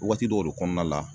Waati dɔw de kɔnɔna la